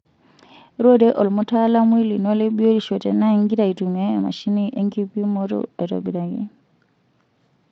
Rorie olmutaalamui lino le biotisho tenaa ingira aitumia emashini enkipimoto aitobiraki.